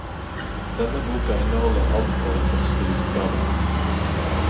Denne boka inneholder alt fra den første utgaven.